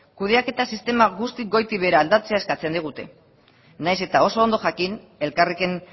kudeaketa sistema guztiz goitik behera aldatzea eskatzen digute nahiz eta oso ondo jakin elkarrekin